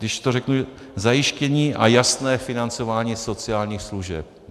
Když to řeknu - zajištění a jasné financování sociálních služeb.